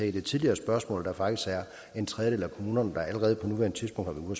i det tidligere spørgsmål der faktisk er en tredjedel af kommunerne der allerede på nuværende tidspunkt har